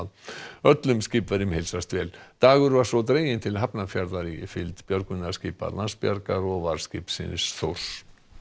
öllum skipverjum heilsast vel dagur var svo dreginn til Hafnarfjarðar í fylgd björgunarskipa Landsbjargar og varðskipsins Þórs